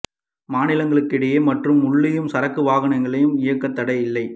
மாநிலங்களுக்கு இடையே மற்றும் உள்ளேயும் சரக்கு வாகனங்களை இயக்க தடை இல்லை